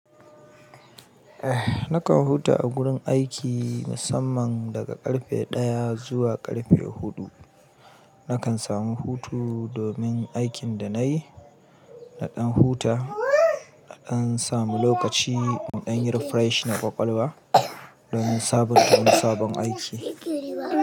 Nakan huta a gurin aiki musamman daga karfe ɗaya zuwa karfe huɗu. Nakan samu hutu domin aikin da nayi na ɗan huta, na ɗan samu lokaci in ɗan yi refresh na ƙwaƙwalwa domin sabon domin sabon aiki.